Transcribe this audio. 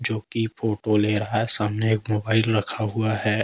जो कि फोटो ले रहा है सामने एक मोबाइल रखा हुआ है।